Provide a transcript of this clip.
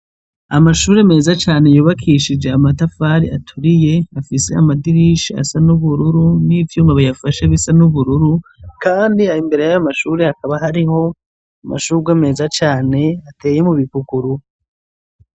Amashure meza cane yubakishije amatafari aturiye afise amadirisha asa nubururu nivyuma biyafasha asa nubururu Kandi imbere yayo mashure amashurwe meza cane ateye mubipukuru.